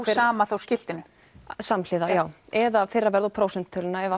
sama skiltinu samhliða já eða fyrra verð og prósentuna ef